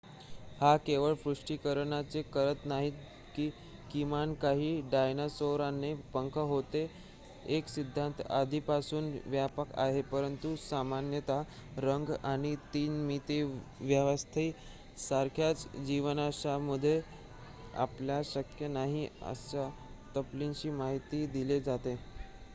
हे केवळ पुष्टीकरणच करत नाही की किमान काही डायनासोरना पंख होतेच एक सिद्धांत आधीपासून व्यापक आहे परंतु सामान्यत रंग आणि 3-मितीय व्यवस्था यासारख्या जीवाश्मांद्वारे आपल्याला शक्य नाही अशा तपशीलांची माहिती दिली जाते